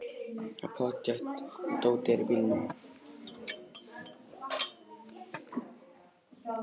Það er pottþétt að dótið er í bílnum!